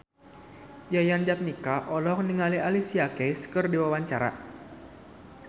Yayan Jatnika olohok ningali Alicia Keys keur diwawancara